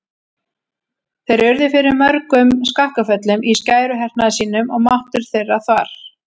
Þeir urðu fyrir mörgum skakkaföllum í skæruhernaði sínum og máttur þeirra þvarr.